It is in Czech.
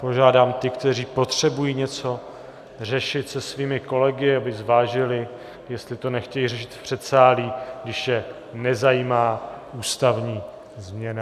Požádám ty, kteří potřebují něco řešit se svými kolegy, aby zvážili, jestli to nechtějí řešit v předsálí, když je nezajímá ústavní změna.